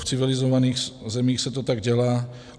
V civilizovaných zemích se to tak dělá.